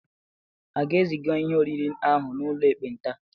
A ga-eziga ihe oriri ahụ n'ụlọ ekpenta?